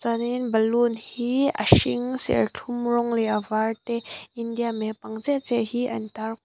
chuan in balloon hi a hring serthlum rawng leh a var te india map ang chiah chiah hi an tar--